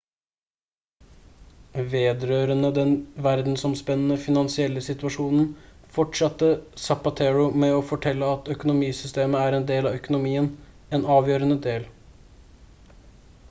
vedrørende den verdensomspennende finansielle situasjonen fortsatte zapatero med å fortelle at «økonomisystemet er en del av økonomien en avgjørende del